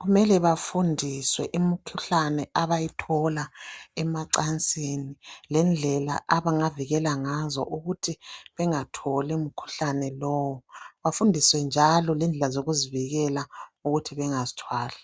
kumele bafundiswe imikhuhlane abayithola emacansini. Lendlela abangavikela ngazo, ukuthi bengatholi umkhuhlane lowu. Bafundiswe njalo lendlela zokuzivikela, ukuthi bangazithwali.